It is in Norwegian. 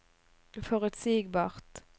forutsigbart